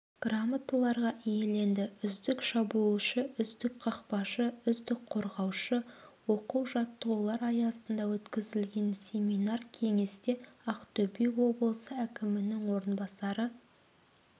грамоталарға иеленді үздік шабуылшы үздік қақпашы үздік қорғаушы оқу-жаттығулар аясында өткізілген семинар-кеңесте ақтөбе облысы әкімінің орынбасары